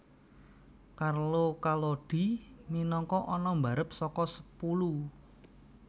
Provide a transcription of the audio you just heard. Carlo Collodi minangka ana barep saka sepulu